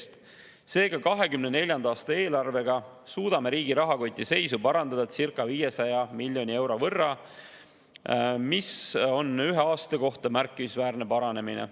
Seega, 2024. aasta eelarvega suudame riigi rahakoti seisu parandada circa 500 miljoni euro võrra, mis on ühe aasta kohta märkimisväärne paranemine.